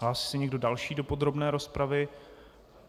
Hlásí se někdo další do podrobné rozpravy?